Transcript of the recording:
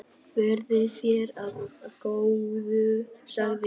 Verði þér að góðu, sagði hún.